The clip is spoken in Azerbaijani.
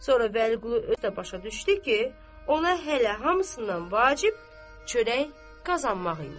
Sonra Vəliqulu özü də başa düşdü ki, ona hələ hamısından vacib çörək qazanmaq imiş.